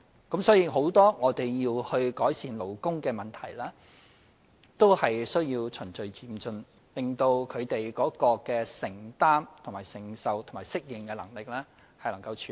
因此，在很多需要改善的勞工問題上，我們也要循序漸進，讓他們在承擔、承受和適應能力上可以應付。